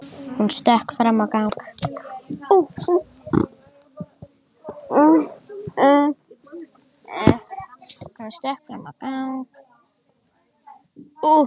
Hún stökk fram í gang.